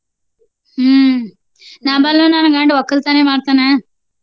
ಹ್ಮ ನಾ ನನ್ನ ಗಂಡ ವಕ್ಕಲ್ತನೆ ಮಾಡ್ತಾನ.